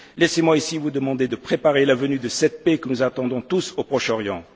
Laissez moi ici vous demander de préparer la venue de cette paix que nous attendons tous au Proche